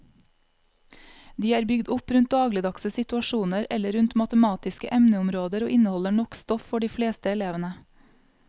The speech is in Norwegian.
De er bygd opp rundt dagligdagse situasjoner eller rundt matematiske emneområder og inneholder nok stoff for de fleste elevene.